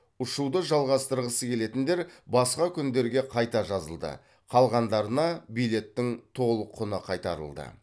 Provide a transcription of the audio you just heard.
ұшуды жалғастырғысы келетіндер басқа күндерге қайта жазылды қалғандарына билеттің толық құны қайтарылды